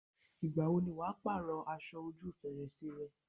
Ìgbà wo ni wà á pàrọ̀ aṣọ ojú fèrèsé rẹ̀?